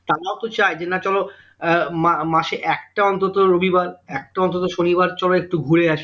তারাও তো চাই যে না চলো আহ মা মাসে একটা অন্তত রবিবার একটা অন্তত শনিবার চলো একটু ঘুরে আসি